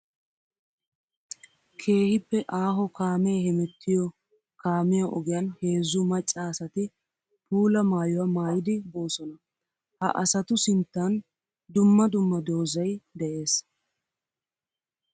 Keehippe aaho kaame hemettiyo kaamiya ogiyan heezzu maca asatti puula maayuwa maayiddi boosonna. Ha asattu sinttan dumma dumma doozay de'ees.